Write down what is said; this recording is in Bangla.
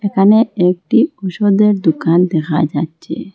এখানে একটি ঔষধের দোকান দেখা যাচ্ছে।